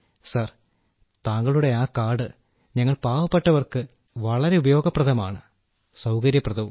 sir താങ്കളുടെ ആ card ഞങ്ങൾ പാവപ്പെട്ടവർക്ക് വളരെ ഉപയോഗപ്രദമാണ് സൌകര്യപ്രദവും